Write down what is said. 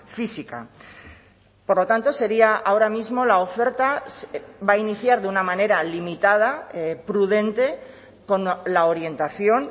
física por lo tanto sería ahora mismo la oferta va a iniciar de una manera limitada prudente con la orientación